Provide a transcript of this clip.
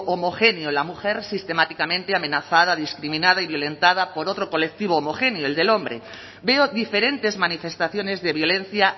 homogéneo la mujer sistemáticamente amenazada discriminada y violentada por otro colectivo homogéneo el del hombre veo diferentes manifestaciones de violencia